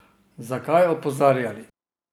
Zakaj opozarjali?